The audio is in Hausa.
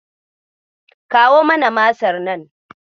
Kawo mana Masar nan.